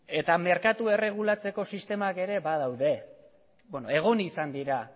eta merkatua erregulatzeko sistemak ere badaude bueno egon izan dira